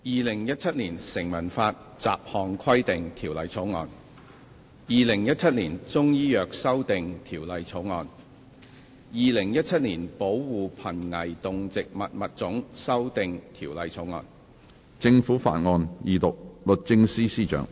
《2017年成文法條例草案》《2017年中醫藥條例草案》《2017年保護瀕危動植物物種條例草案》。